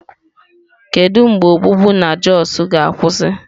Kedu mgbe ogbugbu na Jos ga-akwụsị?